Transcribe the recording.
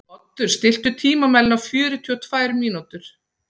Oddur, stilltu tímamælinn á fjörutíu og tvær mínútur.